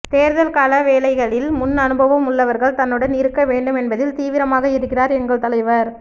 தேர்தல் கள வேலைகளில் முன்அனுபவம் உள்ளவர்கள் தன்னுடன் இருக்க வேண்டும் என்பதில் தீவிரமாக இருக்கிறார் எங்கள் தலைவர்